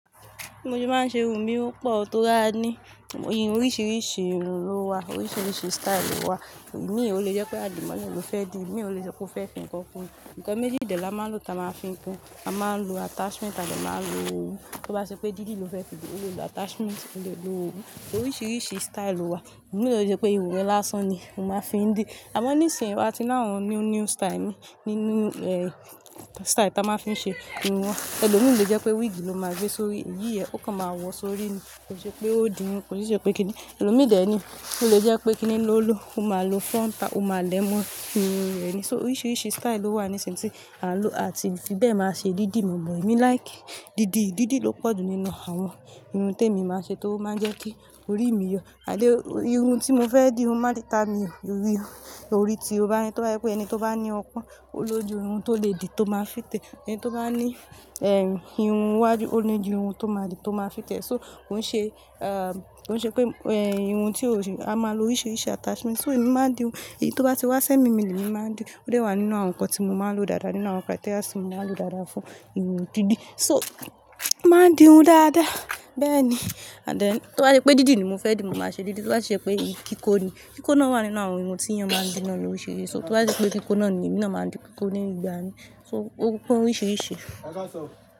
Bí mo ṣe máa ń ṣe irun mi o pọ̀ o tó ri aní oríṣiríṣi irun ló wà, oríṣiríṣi style lo wà. Mí ò le jẹ́ pé àdìmọ́lẹ̀ ló fẹ́ dì mí, ò le jẹ́ pé ó fẹ́ fi ǹkan fún mi. Ǹkan mí dídì lọ máa ń lo kí a máa fi kun. A máa ń lo attachment à de máa ń lo òwú. Tí ó bá ṣe pé dídì ló fẹ́ fi dì, òun lè lo attachment, òun lè lo òwú. Oríṣiríṣi style wà. Mi ò lè jẹ́ pé irun ẹ̀ lásán ni mo máa fi ń dì. Àmọ́ nísìnyí wá ti lá àwọn new, new style nínú, eh, style tí a máa ń fi ṣe irun wọn. Ẹ̀lọ́ mi lè jẹ́ pé wig ló máa gbé sórí iyì ẹ, ó kàn máa wọ̀ sórí ẹ. Kò ṣe pé ó dì wọn, kò ṣe pé kíni. Ẹ̀lọ́ mi dè ẹ́ ni. Ó lè jẹ́ pé kíni ló lò, ó máa lo frontal, ó máa lẹ mọ́ irun rẹ ni. So oríṣiríṣi style lo wà nísìnyí tí à ń lò àti fi bẹ́ẹ̀ máa ṣe dídì mọ̀ọ́mọ. Èmi like dídì. Dídì ló pọ̀jù nínú àwọn irun tí èmi máa ń ṣe tó máa ń jẹ́ kí orí mi yọ. Ànd then irun tí mo fẹ́ dì, òun máa ríta mi ò. Orí ò. Lórí tí ó bá yí, tí ó bá rí pé ẹni tó bá ní ọpọ́n, ó ló ju irun tó lè dì tó máa fit e ẹni tó bá ní, eh, irun wájú, ó ní ojú irun tó máa dì tó máa fit e. So kò ń ṣe, ah, kò ń ṣe pé, eh, irun tí ò rí, a máa lo oríṣiríṣi attachment. So èmi máa ń di irun. Èyí tó bá ti wá sẹ́ mi mi ní èmi máa ń dì. Ó dẹ wà nínú àwọn nǹkan tí mo máa ń lo dáadáa, nínú àwọn criteria tí mo máa ń lo dáadáa fún irun dídì. So màá ń di irun dáadáa. Bẹ́ẹ̀ ni. And then tí ó bá ṣe pé dídì ni mo fẹ́ dì, mo máa ṣe dídì. Tí ó bá ṣe pé kí kó ni, kí kó náà wà nínú àwọn irun tí èèyàn máa ń dì náà oríṣiríṣi. So tí ó bá ṣe pé kí kó náà ni, èmi náà máa ń dì kí kó ní ìgbà mí. So ó pọn oríṣiríṣi. E ka san o.